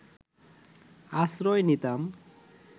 আশ্রয় নিতাম